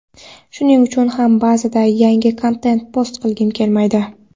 shuning uchun ham ba’zida yangi kontent post qilgim kelmaydi.